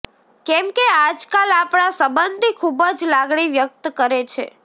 કેમ કે આજકાલ આપણા સબંધી ખુબ જ લાગણી વ્યક્ત કરે છે